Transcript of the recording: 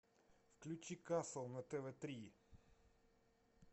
включи касл на тв три